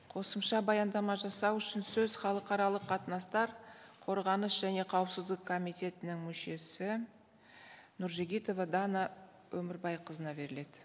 қосымша баяндама жасау үшін сөз халықаралық қатынастар қорғаныс және қауіпсіздік комитетінің мүшесі нұржігітова дана өмірбайқызына беріледі